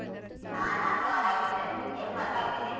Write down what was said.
ಹ ನಾನೂ ಆರಾಮಿದ್ದೇನೆ ಏನ್ ಮಾಡ್ತಾ ಇದ್ದೀರಿ?